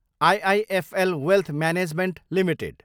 IIFL wealth management Ltd